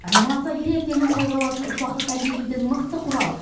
анимация ел ертеңін қолға алатын ұрпақты тәрбиелейтін мықты құрал